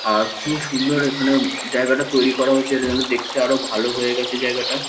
আর ভীষণ সুন্দর এখানে জায়গাটা তৈরি করা হয়েছে এটা যেন দেখতে আরো ভালো হয়ে গেছে জায়গাটা।